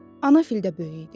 Ana fil də böyük idi.